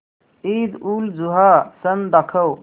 ईदउलजुहा सण दाखव